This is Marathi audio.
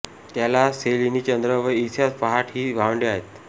त्याला सेलीनी चंद्र व इऑस पहाट ही भावंडे आहेत